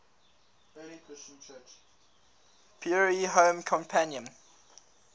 prairie home companion